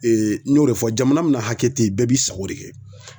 n y'o de fɔ jamana min na hakɛ te ye bɛɛ b'i sago de kɛ